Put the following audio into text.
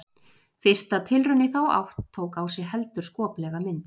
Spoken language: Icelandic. Fyrsta tilraun í þá átt tók á sig heldur skoplega mynd.